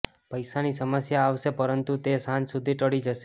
પૈસાની સમસ્યા આવશે પરંતુ તે સાંજ સુધી ટળી જશે